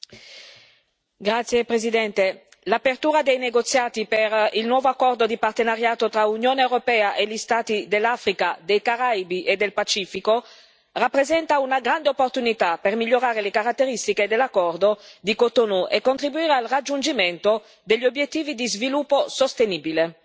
Signora Presidente, onorevoli colleghi, l'apertura dei negoziati per il nuovo accordo di partenariato tra l'Unione europea e gli Stati dell'Africa, dei Caraibi e del Pacifico rappresenta una grande opportunità per migliorare le caratteristiche dell'accordo di Cotonou e contribuire al raggiungimento degli obiettivi di sviluppo sostenibile.